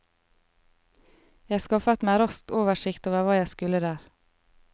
Jeg skaffet meg raskt oversikt over hva jeg skulle der.